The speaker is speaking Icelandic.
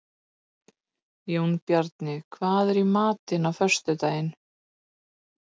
Jónbjarni, hvað er í matinn á föstudaginn?